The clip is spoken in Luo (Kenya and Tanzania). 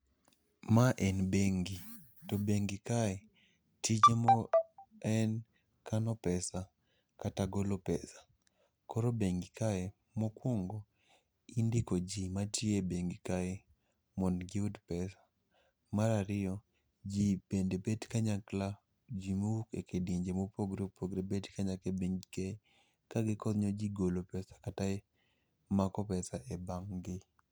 Ma en bengi to bengi kae tije mo en kano pesa kata golo pesa. Koro bengi kae mokwongo, indiko ji matiyo e bengi kae mond giyud pesa. Marariyo, ji bende bet kanyakla, ji mowuok e kidienje mopogore opogore bet kanyakla e bengi kae. Ka gikonyo ji golo pesa kata e mako pesa kata e bang' gi.